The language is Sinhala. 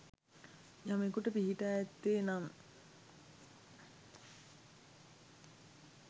යමෙකුට පිහිටා ඇත්තේ නම්